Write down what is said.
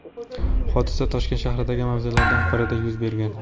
Hodisa Toshkent shahridagi mavzelardan birida yuz bergan.